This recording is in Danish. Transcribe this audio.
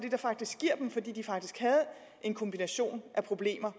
fordi de faktisk havde en kombination af problemer